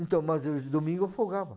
Então, mas os domingos eu folgava.